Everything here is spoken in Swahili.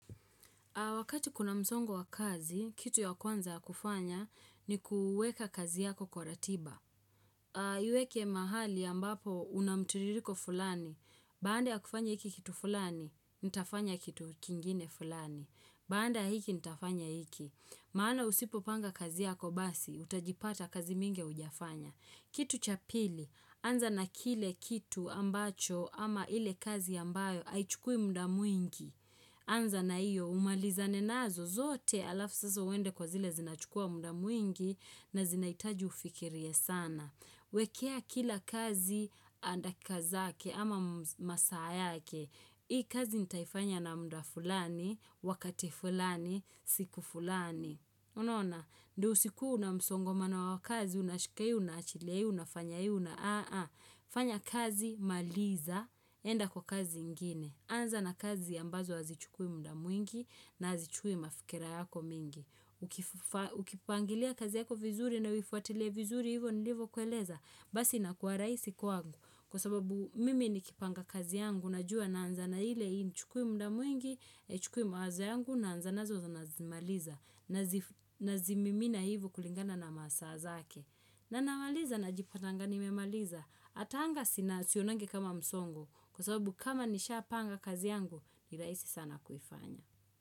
Wakati kuna mzongo wa kazi, kitu ya kwanza ya kufanya ni kuweka kazi yako kwa ratiba. Iweke mahali ya ambapo unamtiririko fulani, baande hakufanya hiki kitu fulani, nitafanya kitu kingine fulani. Baande hiki nitafanya hiki. Maana usipo panga kazi yako basi, utajipata kazi mingi hujafanya. Kitu cha pili, anza na kile kitu ambacho ama ile kazi ambayo haichukui muda mwingi. Anza na iyo umaliza nenazo zote alafu sasa uende kwa zile zinachukua munda mwingi na zinaitaju ufikiria sana. Wekea kila kazi anda kazake ama masaa yake. Hii kazi nitaifanya na muda fulani, wakati fulani, siku fulani. Unaona, ndio usikue una msongo mana wakazi, unashikai na uachilie, unafanya hii una aah aah fanya kazi maliza, enda kwa kazi ingine anza na kazi ambazo azichukui muda mwingi na azichukui mafikira yako mingi Ukipangilia kazi yako vizuri na uifuatile vizuri hivo nilivo kueleza Basi na kwa raisi kwa angu Kwa sababu mimi nikipanga kazi yangu na jua na anza na hile haichukui muda mwingi, chukui mawaza yangu na anza nazo na maliza na zimimina hivu kulingana na masa zake na namaliza na jipatanga nimemaliza Atanga sina sionange kama msongo Kwa sababu kama nisha panga kazi yangu Nilaisi sana kufanya.